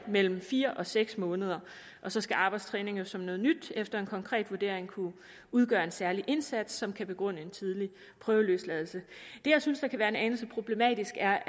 mellem fire og seks måneder og så skal arbejdstræning som noget nyt efter en konkret vurdering kunne udgøre en særlig indsats som kan begrunde en tidlig prøveløsladelse det jeg synes kan være en anelse problematisk er